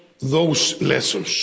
those lessons.